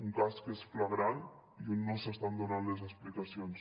un cas que és flagrant i on no s’estan donant les explicacions